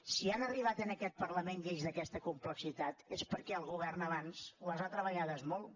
si han arribat a aquest parlament lleis d’aquesta complexitat és perquè el govern abans les ha treballades molt